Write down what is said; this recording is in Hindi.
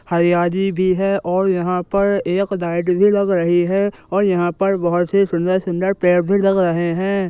हरियाली भी है और यहां पर एक लाइट भी लग रही है और यहां पर बहुत ही सुंदर-सुंदर पेड़ भी लग रहे हैं।